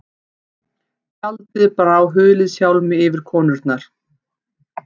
Tjaldið brá huliðshjálmi yfir konurnar.